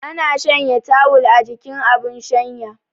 Ana shanya tawul a jikin abun shanya